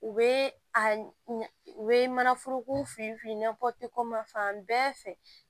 U bɛ a u bɛ manaforoko fili fili n'a fɔti ko ma fan bɛɛ fɛ